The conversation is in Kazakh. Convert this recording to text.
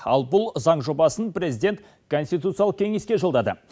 ал бұл заң жобасын президент конституциялық кеңеске жолдады